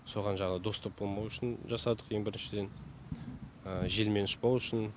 соған жаңағы доступ болмау үшін жасадық ең біріншіден желмен ұшпау үшін